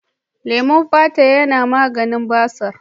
Leman fata yana maganin basir.